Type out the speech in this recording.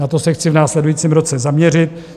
Na to se chci v následujícím roce zaměřit.